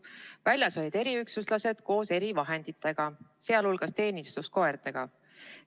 Väljas olid eriüksuslased koos erivahenditega, sh teenistuskoertega.